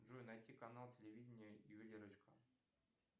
джой найти канал телевидения ювелирочка